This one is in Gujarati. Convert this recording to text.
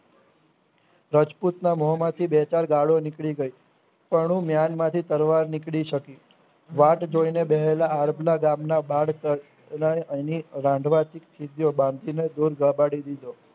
રાજપૂતના મોંમાંથી બેચાર ગાળો નીકળી ગઈ તોનું મ્યાન માંથી તલવાર નીકળી શકી વાત જોઈને બેસેલા આરધના ગામના બાદ પાર ઓલ્યે એની રાંધવા બાંધીને દૂર